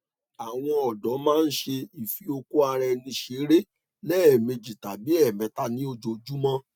awọn ọdọ ma n ṣe ifiokoaraenisere lẹmeji tabi mẹta ni ojoojumo